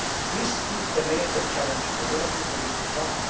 This is the major challenge for Europe in the years to come.